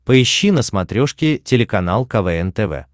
поищи на смотрешке телеканал квн тв